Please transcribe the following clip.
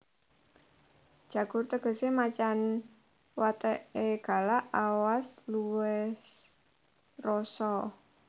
Jagur tegesé macan wateké galak awas luwes rosa